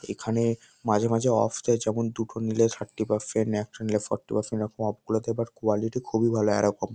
এখানে মাঝে মাঝে অফ দেয় যখন দুটো নিলে থার্টি পারসেন্ট একটা নিলে ফর্টি পারসেন্ট এরকম অফ করে দেয় বাট কোয়ালিটি খুবই ভালো এরকম ।